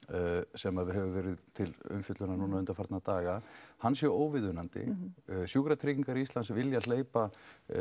sem hefur verið til umfjöllunar undanfarna daga hann sé óviðunandi sjúkratryggingar Íslands vilja hleypa